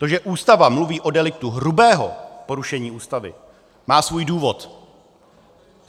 To, že Ústava mluví o deliktu hrubého porušení Ústavy, má svůj důvod.